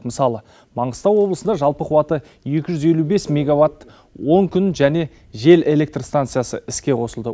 мысалы маңғыстау облысында жалпы қуаты екі жүз елу бес меговатт он күн және жел электр станциясы іске қосылды